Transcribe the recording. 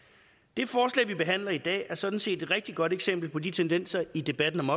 det forslag vi behandler i dag er sådan set et rigtig godt eksempel på de tendenser i debatten om